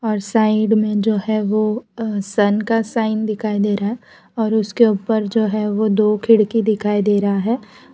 और साइड में जो है वो सन का साइन दिखाई दे रहा है और उसके ऊपर जो है वो दो खिड़की दिखाई दे रहा है।